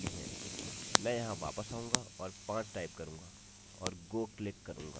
मैं यहाँ वापस जाऊँगा और 5 टाइप करूँगा और go क्लिक करूँगा